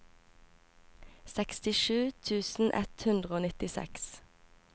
sekstisju tusen ett hundre og nittiseks